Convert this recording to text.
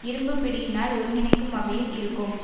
இரும்பு பிடியினால் ஒருங்கிணைக்கும் வகையில் இருக்கும்